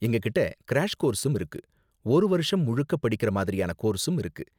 எங்ககிட்ட கிராஷ் கோர்ஸும் இருக்கு, ஒரு வருஷம் முழுக்க படிக்குற மாதிரியான கோர்ஸும் இருக்கு.